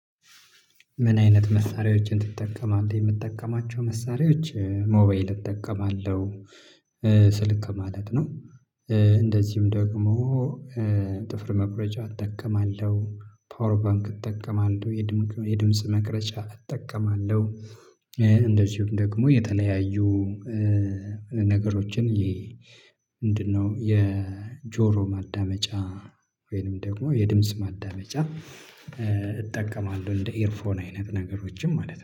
ምን? አይነት መሳሪያዎችን ትጠቀማለህ የምጠቀማቸው መሳሪያዎች ሞባይል እጠቀማለሁ ስልክ ማለት ነው። እንደዚሁም ደግሞ ጥፍር መቁረጫ እጠቀማለሁ ፓወር ባንክ እጠቀማለሁ። የድምጽ መቅረጫ እጠቀማለሁ። እንደዚሁም ደግሞ የተለያዩ ነገሮችን ይሄ ምንድነው የጆሮ ማዳመጫ ወይንም ደግሞ የድምጽ ማዳመጫ እጠቀማለሁ። እንደ ኤርፎን አይነት ነገሮችም ማለት ነው